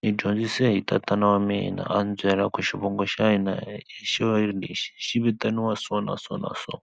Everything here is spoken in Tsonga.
ni dyondzise hi tatana wa mina a ni byela ku xivongo xa hina i xilo lexi xi vitaniwa so na so na so.